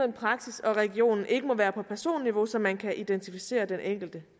praksis og regioner ikke må være på personniveau så man kan identificere den enkelte